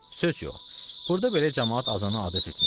Söz yox, burda belə camaat azana adət etmiş.